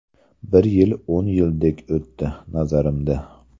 Bir yil o‘n yildek o‘tdi, nazarimda.